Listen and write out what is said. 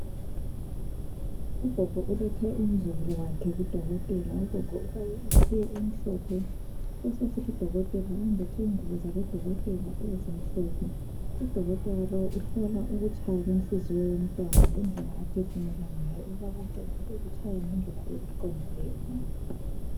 Ugogo ulethe umzukulu wakhe kudokotela. Ugogo ufake iqhiye emhlophe kubesokusithi udokotela uyembethe ingubo zabodokotela ezimhlophe. Udokotela lo uhlola ukutshaya kwenhliziyo yomntwana lendlela aphefumula ngayo ukuba konke kungabe kutshaya ngendlela eqondileyo na.